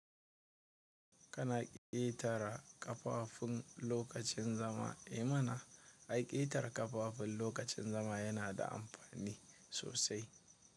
Kana ƙetara ƙafafun lokacin zama. I mana ai ƙetara ƙafafun lokacin zama yana da amfani sosai.